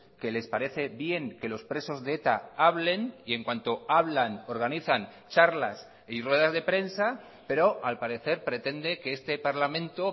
que les parece bien que los presos de eta hablen y en cuanto hablan organizan charlas y ruedas de prensa pero al parecer pretende que este parlamento